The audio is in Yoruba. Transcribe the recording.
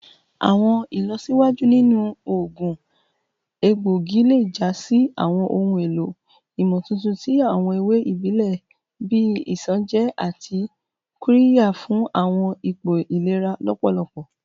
Awọn ilọsiwaju ninu oogun egboigi le ja si awọn ohun elo imotuntun ti awọn ewe ibile bii isanje ati qirya fun awọn ipo ilera lọpọlọpọ